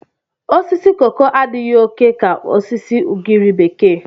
Osisi koko adịghị oke ka osisi ugiri bekee.